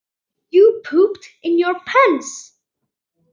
Eftir það hrukku þeir frá.